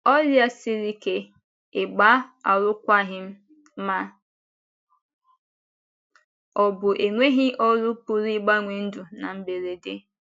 Ọrịa siri ike, ịgba alụkwaghịm, ma ọ bụ enweghị ọrụ pụrụ ịgbanwe ndụ na mberede.